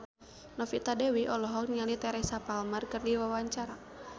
Novita Dewi olohok ningali Teresa Palmer keur diwawancara